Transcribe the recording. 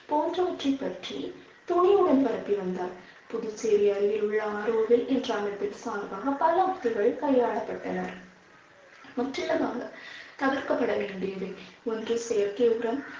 போன்றவற்றைப் பற்றி துணிவுடன் பரப்பி வந்தார் புதுச்சேரி அருகில் உள்ள ஆரோவில் பல யுக்திகள் கையாளப்பட்டன. முற்றிலுமாக தவிர்க்கப்பட வேண்டியவை. ஒன்று செயற்கை உரம்